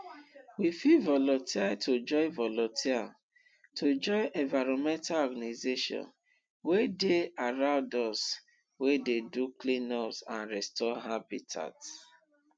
we fit volunteer to join volunteer to join environmental organisations wey dey around us wey dey do cleanups and restore habitat